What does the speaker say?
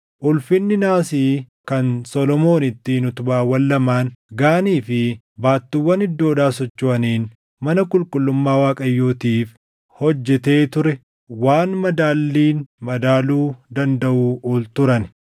Ulfinni naasii kan Solomoon ittiin utubaawwan lamaan, Gaanii fi baattuuwwan iddoodhaa sochoʼaniin mana qulqullummaa Waaqayyootiif hojjetee ture waan madaalliin madaaluu dandaʼuu oli turan.